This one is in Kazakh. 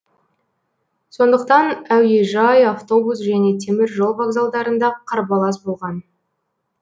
сондықтан әуежай автобус және темір жол вокзалдарында қарбалас болған